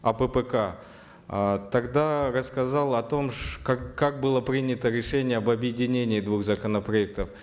аппк э тогда рассказал о том как как было принято решение об объединении двух законопроектов